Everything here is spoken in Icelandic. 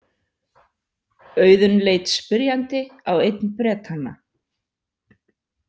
Auðunn leit spyrjandi á einn Bretanna.